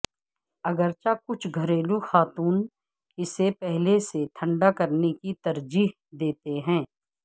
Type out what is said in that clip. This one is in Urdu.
اگرچہ کچھ گھریلو خاتون اسے پہلے سے ٹھنڈا کرنے کی ترجیح دیتے ہیں